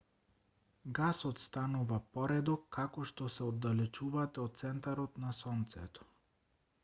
гасот станува поредок како што се оддалечувате од центарот на сонцето